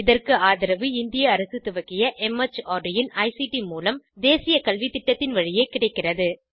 இதற்கு ஆதரவு இந்திய அரசு துவக்கிய மார்ட் இன் ஐசிடி மூலம் தேசிய கல்வித்திட்டத்தின் வழியே கிடைக்கிறது